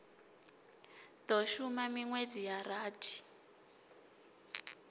do shuma minwedzi ya rathi